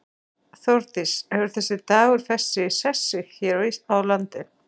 Þórdís, hefur þessi dagur fest sig í sessi hér á landi?